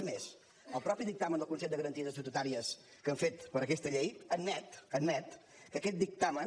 és més el mateix dictamen del consell de garanties estatutàries que han fet per a aquesta llei admet admet que aquest dictamen